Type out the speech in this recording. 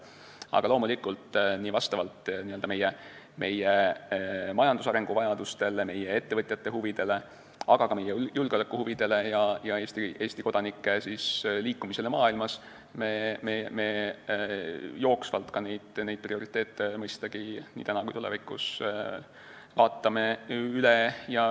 Ent loomulikult me vaatame prioriteedid üle vastavalt meie majandusarengule, ettevõtjate huvidele, aga ka julgeolekuhuvidele ja Eesti kodanike liikumisele maailmas jooksvalt nii praegu kui ka tulevikus.